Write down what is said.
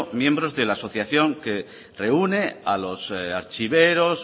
miembros de la asociación que reúne a los archiveros